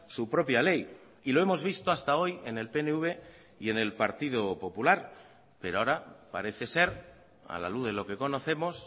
su propia ley y lo hemos visto hasta hoy en el pnv y en el partido popular pero ahora parece ser a la luz de lo que conocemos